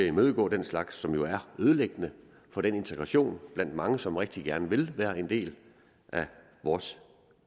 imødegå den slags som jo er ødelæggende for integrationen blandt mange som rigtig gerne vil være en del af vores